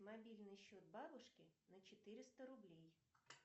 мобильный счет бабушки на четыреста рублей